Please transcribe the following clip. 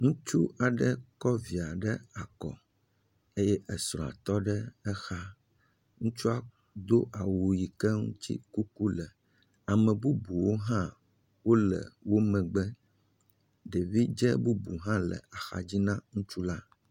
Ŋutsu aɖe kɔ via ɖe akɔ eye esrɔ̃a tɔ ɖe exa, ŋutsu do awu yi ke ŋu kuku le, ane bubu aɖewo hã wole woƒe megbe, ɖevidze bubu hã le axa dzi na ŋutsu la.